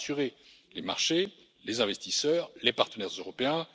Cela rassurera les marchés, les investisseurs et les partenaires européens.